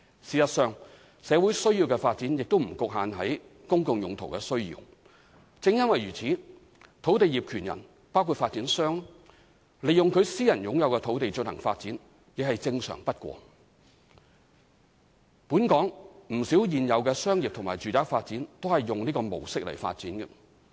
事實上，社會需要的發展亦不局限於"公共用途"的需要。正因為如此，土地業權人利用其私人擁有的土地進行發展，亦是正常不過，本港不少現有的商業及住宅發展都是以此模式發展。